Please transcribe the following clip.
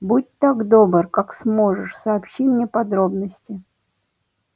будь так добр как сможешь сообщи мне подробности